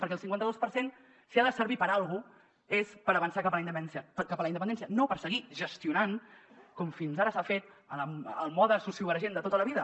perquè el cinquanta dos per cent si ha de servir per a alguna cosa és per avançar cap a la independència no per seguir gestionant com fins ara s’ha fet al mode sociovergent de tota la vida